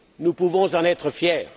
Nous pouvons en être fiers.